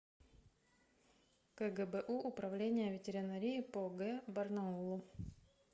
кгбу управление ветеринарии по г барнаулу